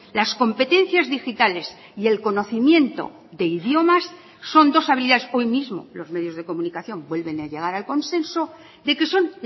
las competencias digitales y el conocimiento de idiomas son dos habilidades hoy mismo los medios de comunicación vuelven a llegar al consenso de que son